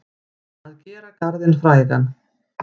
Að gera garðinn frægan